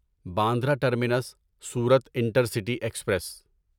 Bandra terminus Surat intercity express